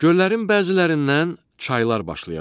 Göllərin bəzilərindən çaylar başlaya bilir.